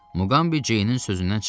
Muqambi Ceynin sözündən çıxmadı.